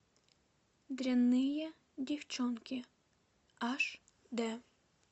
дрянные девчонки аш д